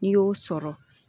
N'i y'o sɔrɔ